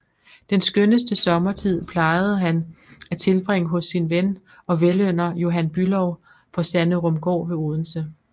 Den skønneste sommertid plejede han at tilbringe hos sin ven og velynder Johan Bülow på Sanderumgaard ved Odense